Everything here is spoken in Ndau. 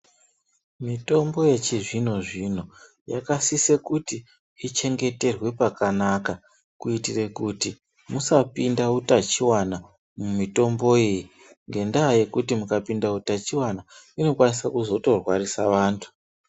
Mitombo yechizvino-zvino yakasise kuti ichengeterwe pakanaka ,kuitire kuti musapinda utachiwana mumitomboyi, ngendaa yekutI, mukapinda utachiwana inokwanisa kuzotorwarisa vantu.